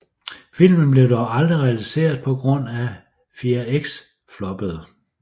Filmen blev dog aldrig realiseret på grund af Fear X floppede